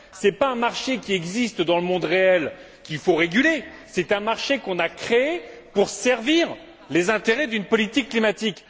Ce n'est pas un marché qui existe dans le monde réel et qu'il faut réguler, c'est un marché qui a été créé pour servir les intérêts d'une politique climatique.